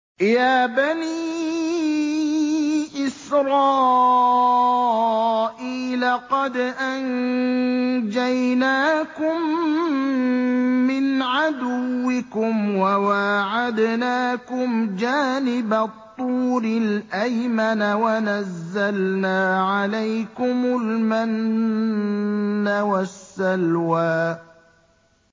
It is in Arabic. يَا بَنِي إِسْرَائِيلَ قَدْ أَنجَيْنَاكُم مِّنْ عَدُوِّكُمْ وَوَاعَدْنَاكُمْ جَانِبَ الطُّورِ الْأَيْمَنَ وَنَزَّلْنَا عَلَيْكُمُ الْمَنَّ وَالسَّلْوَىٰ